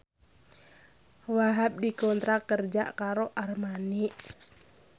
Wahhab dikontrak kerja karo Armani